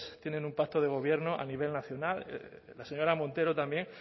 tienen un pacto de gobierno a nivel nacional la señora montero también